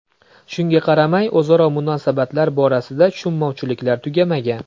Shunga qaramay o‘zaro munosabatlar borasida tushunmovchiliklar tugamagan.